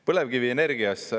Põlevkivienergiast.